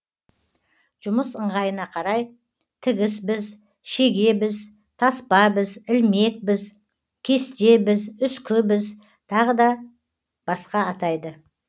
жұмыс ыңғайына қарай тігіс біз шеге біз таспа біз ілмек біз кесте біз үскі біз тағы да басқа атайды